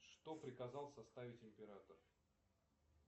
что приказал составить император